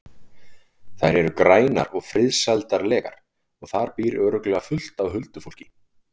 Þær eru grænar og friðsældarlegar og þar býr örugglega fullt af huldufólki.